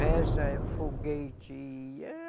Reza, foguete,